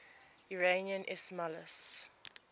iranian ismailis